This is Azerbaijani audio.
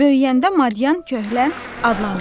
böyüyəndə madyan, köhlən adlanır.